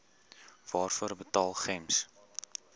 waarvoor betaal gems